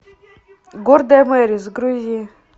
гордая мэри загрузи